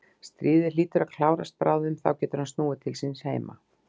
Stríðið hlýtur að klárast bráðum og þá getur hann snúið til síns heima.